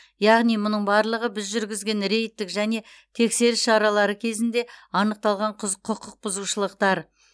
яғни мұның барлығы біз жүргізген рейдтік және тексеріс шаралары кезінде анықталған құз құқық бұзушылықтар